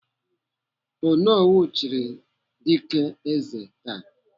Onowu chiri Dike eze taa.